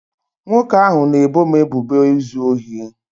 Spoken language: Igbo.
nwoke ahụ na-ebo m ebubo izu ohi